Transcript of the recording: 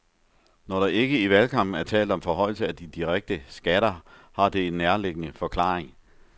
Når der ikke i valgkampen er talt om forhøjelse af de direkte skatter, har det en nærliggende forklaring.